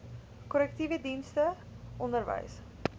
korrektiewe dienste onderwys